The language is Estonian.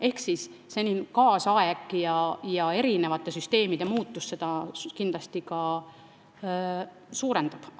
Ehk muutunud aeg ja süsteemide muutumine seda arvu kindlasti ka suurendab.